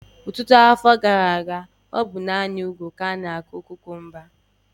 Ọtụtụ afọ gara aga, ọ bụ naanị n'ugwu ka ánà-akụ kukumba